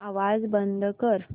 आवाज बंद कर